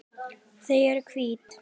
Þau eru hvít.